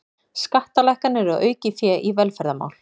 Skattalækkanir og aukið fé í velferðarmál